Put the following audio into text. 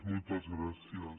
moltes gràcies